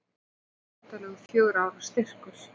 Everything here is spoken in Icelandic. Þetta var myndarlegur fjögurra ára styrkur.